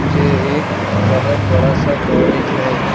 ये एक बहोत बड़ा सा कॉलेज है।